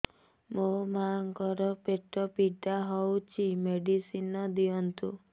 ମୋ ମାଆଙ୍କର ପେଟ ପୀଡା ହଉଛି ମେଡିସିନ ଦିଅନ୍ତୁ